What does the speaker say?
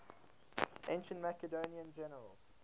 ancient macedonian generals